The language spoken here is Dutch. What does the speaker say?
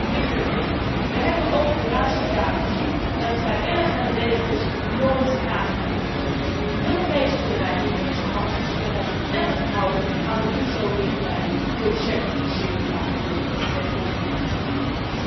Dat is een verplichte regeling. Wij hebben in de laatste jaren gezien dat vrijwillige regels nooit nageleefd worden. Europese bedrijven kunnen zich al sinds 2011 houden aan de OESO richtlijnen voor de certificering van producten met conflictmineralen.